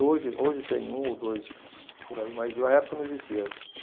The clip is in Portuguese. Hoje, hoje tem um ou dois por aí, mas na época não existia.